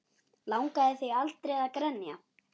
Langaði þig aldrei að grenja?